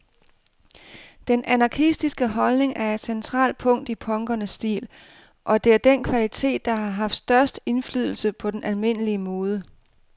Den anarkistiske holdning er et centralt punkt i punkernes stil, og det er den kvalitet, der har haft størst indflydelse på den almindelige mode.